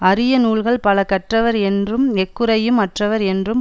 அரிய நூல்கள் பல கற்றவர் என்றும் எக்குறையும் அற்றவர் என்றும்